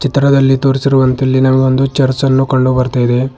ಚಿತ್ರದಲ್ಲಿ ತೋರಿಸಿರುವಂತೆ ಇಲ್ಲಿ ನಮಗೆ ಒಂದು ಚರ್ಚ್ ಅನ್ನು ಕಂಡು ಬರ್ತಾ ಇದೆ.